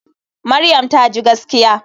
Maryam taji gaskiya.